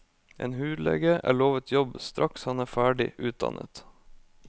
En hudlege er lovet jobb straks han er ferdig utdannet.